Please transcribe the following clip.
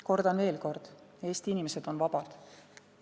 Kordan veel: Eesti inimesed on vabad.